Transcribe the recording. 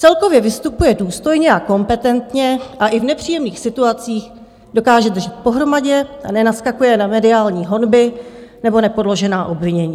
Celkově vystupuje důstojně a kompetentně a i v nepříjemných situacích dokáže držet pohromadě a nenaskakuje na mediální honby nebo nepoložená obvinění.